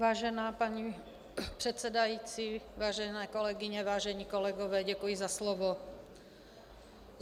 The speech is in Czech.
Vážená paní předsedající, vážené kolegyně, vážení kolegové, děkuji za slovo.